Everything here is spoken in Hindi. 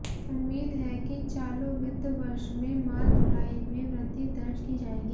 उम्मीद है कि चालू वित्त वर्ष में माल ढुलाई में वृद्धि दर्ज की जाएगी